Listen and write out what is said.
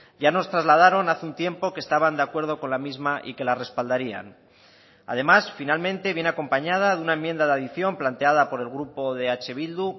ya nos trasladaron hace un tiempo que estaban de acuerdo con la misma y que la respaldarían además finalmente viene acompañada de una enmienda de adición planteada por el grupo de eh bildu